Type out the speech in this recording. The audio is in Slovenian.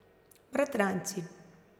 Bratranci.